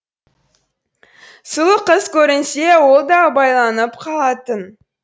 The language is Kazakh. сұлу қыз көрінсе ол да байланып қалатын